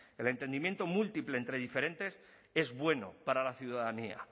el entendimiento múltiple entre diferentes es bueno para la ciudadanía